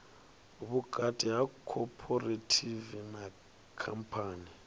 vhukati ha khophorethivi na khamphani